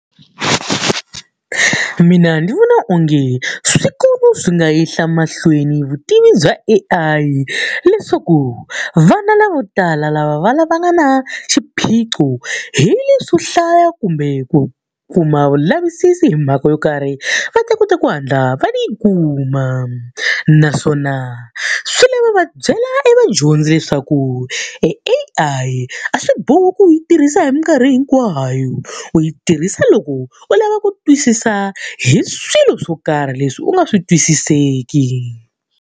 Mina ndzi vona onge swikolo swi nga yisa emahlweni vutivi bya A_I leswaku vana lavo tala lava va va nga na xiphiqo hi leswo hlaya kumbe ku kuma vulavisisi hi mhaka yo karhi, va ta kota ku ku hatla va yi kuma. Naswona swi lava va byela evadyondzi leswaku e A_I a swi bohi ku u yi tirhisa hi minkarhi hinkwayo, u yi tirhisa loko u lava ku twisisa hi swilo swo karhi leswi u nga swi twisiseki.